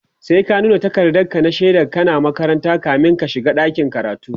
sai ka nuna takardan shaidan ka na makaranta kamin ka shiga dakin karatu